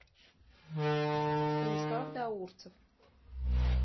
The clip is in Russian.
станислав даурцев